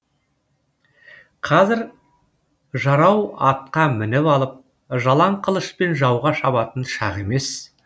қазір жарау атқа мініп алып жалаң қылышпен жауға шабатын шақ емес